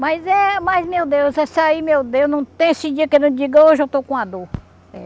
Mas eh, mas meu Deus, esse aí meu Deus, não tem esse dia que eu não diga, hoje eu estou com uma dor.